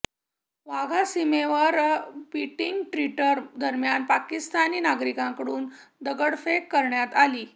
वाघा सीमेवर beating retreat दरम्यान पाकिस्तानी नागरिकांकडून दगडफेक करण्यात आली